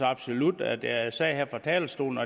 absolut at jeg sagde her fra talerstolen